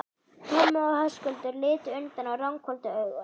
Tommi og Höskuldur litu undan og ranghvolfdu augunum.